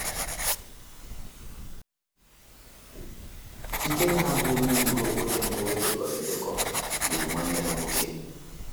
Ikenna, bụ́ onye wuru obodo mbụ e dekọrọ edekọ, gburu nwanne ya nwoke.